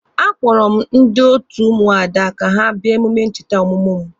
A kpọrọ m ndị otu Ụmụada ka ha bịa emume ncheta ọmụmụ mụ.